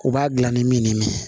U b'a dilan ni min ye